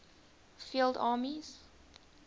field armies